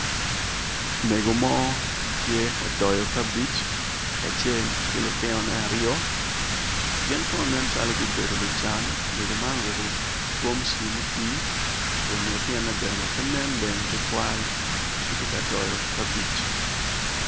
Mego mo tye ka doyo cabej kacel ki lutino ne aryo gin kono gin calo gubedo lucan mego man oruko gomsi muti ko lutino ne bene pe nen leng tutwal gitye ka doyo cabej.